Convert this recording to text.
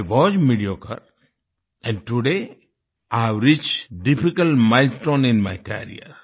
I was mediocre and today I have reached difficult milestones in my career